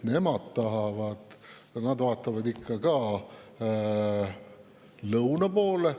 Nemad vaatavad ka ikka lõuna poole.